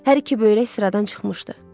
Hər iki böyrək sıradan çıxmışdı.